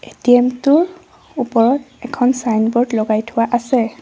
ATM টোৰ ওপৰত এখন ছাইনবোৰ্ড লগাই থোৱা আছে।